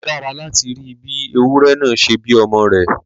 Ó dára láti rí bí ewúrẹ náà ṣe bí ọmọ rẹ̀